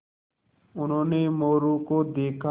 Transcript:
उन्होंने मोरू को देखा